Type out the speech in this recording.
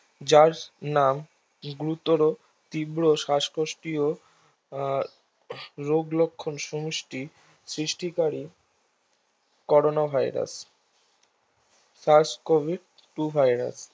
যার নাম গুরুতর তীব্র শ্বাসকষ্ট ও রোগলক্ষন সমষ্টি সৃষ্টিকারী Corona Virus First Covid to virus